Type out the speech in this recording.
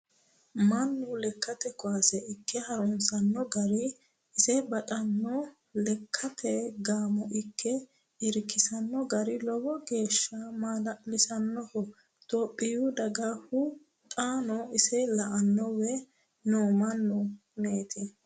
Mannu lekkate kawaase ikke harunsano garinna isi baxano lekkate gaamo ikke irkisano gari lowo geeshsha maala'lisanoho itophiyu dagahu xaano ise la"aniwe no mannu kuneti.